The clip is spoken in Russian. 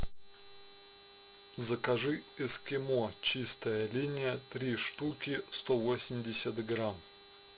закажи эскимо чистая линия три штуки сто восемьдесят грамм